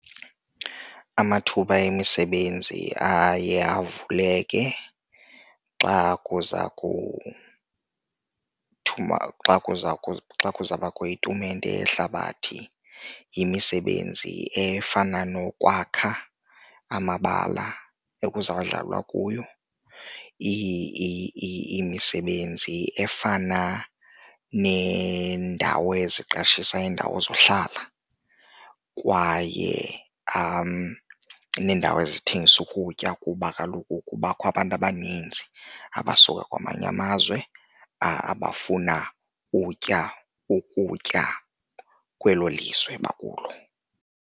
Amathuba emisebenzi aye avuleke xa kuza kuthuma xa xa kuza bakho itumente yehlabathi. Yimisebenzi efana nokwakha amabala ekuzawudlalwa kuwo, imisebenzi efana neendawo eziqeshisayo, iindawo zohlala, kwaye neendawo ezithengisa ukutya kuba kaloku kubakho abantu abaninzi abasuka kwamanye amazwe abafuna utya ukutya kwelo lizwe bakulo.